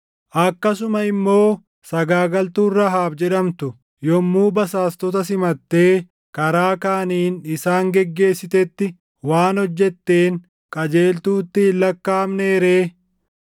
Akkasuma immoo sagaagaltuun Rahaab jedhamtu yommuu basaastota simattee karaa kaaniin isaan geggeessitetti waan hojjetteen qajeeltuutti hin lakkaaʼamnee ree?